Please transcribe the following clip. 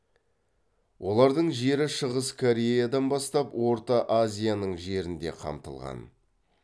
олардың жері шығыс кореядан бастап орта азияның жерін де қамтылған